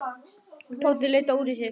Tóti leit á úrið sitt.